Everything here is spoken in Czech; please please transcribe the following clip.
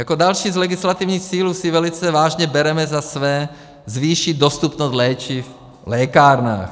Jako další z legislativních cílů si velice vážně bereme za své zvýšit dostupnost léčiv v lékárnách.